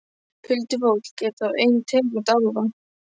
Huldufólk er þá ein tegund álfa.